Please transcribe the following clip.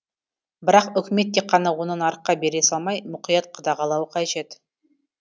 бірақ үкімет тек қана оны нарыққа бере салмай мұқият қадағалауы қажет